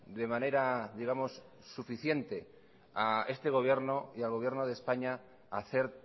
de manera digamos suficiente a esta gobierno y al gobierno de españa a hacer